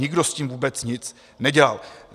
Nikdo s tím vůbec nic nedělal.